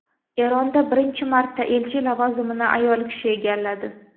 Eronda birinchi marta elchi lavozimini ayol kishi egalladi.